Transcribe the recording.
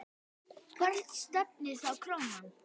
Hvert stefnir þá krónan?